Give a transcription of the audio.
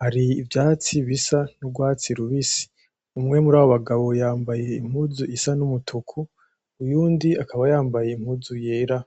hari ivyatsi bisa n'urwatsi rubisi umwe muri abo bagabo yambaye impuzu isa n'agahama uwundi akaba yambaye impuzu yera.